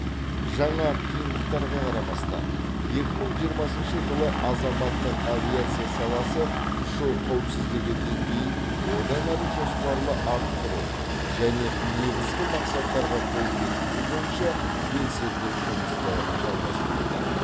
жаңа қиындықтарға қарамастан екі мың жиырмасыншы жылы азаматтық авиация саласы ұшу қауіпсіздігі деңгейін одан әрі жоспарлы арттыру және негізгі мақсаттарға қол жеткізу бойынша белсенді жұмысты жалғастыруда